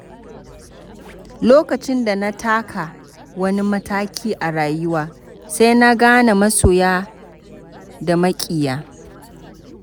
Lokacin da na taka wani mataki a rayuwa, sai na gane masoya da maƙiya